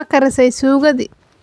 Ma karisay sukkoti?